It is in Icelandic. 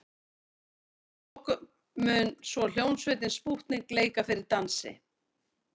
Að lokum mun svo hljómsveitin Spútnik leika fyrir dansi.